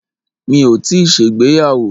Mi ò tíì ṣègbéyàwó.